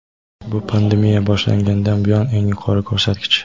Bu pandemiya boshlangandan buyon eng yuqori ko‘rsatkich.